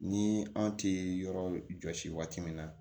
Ni an ti yɔrɔ jɔsi waati min na